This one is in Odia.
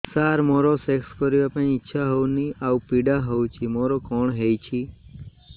ସାର ମୋର ସେକ୍ସ କରିବା ପାଇଁ ଇଚ୍ଛା ହଉନି ଆଉ ପୀଡା ହଉଚି ମୋର କଣ ହେଇଛି